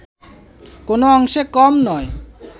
কোনো অংশে কম নয়